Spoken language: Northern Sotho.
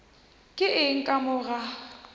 ke eng ka mo ga